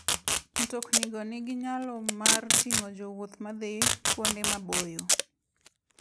Mtoknigo nigi nyalo mar ting'o jowuoth madhi kuonde maboyo.